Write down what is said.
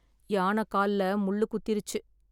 யானை கால்ல முள் குத்திருச்சு